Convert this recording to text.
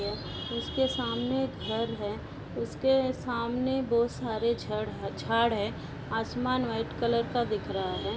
उसके सामने घर है। उसके सामने बु सारे जड़ है झाड है। आसमान वाईट कलर का दिख रहा है।